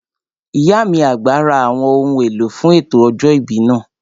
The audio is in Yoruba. Ìyá mi àgbà ra àwọn ohun èlò fún ètò ọjọ́ ìbí náà